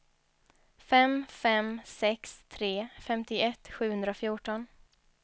fem fem sex tre femtioett sjuhundrafjorton